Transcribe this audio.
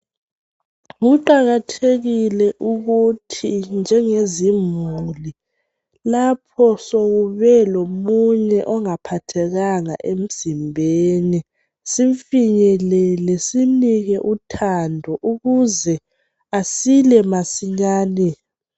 Kuqakathekile ukuthi njengezimuli lapho sokube lomunye ongaphathekanga emzimbeni simfinyelele simnike uthando ukuze asile masinyane.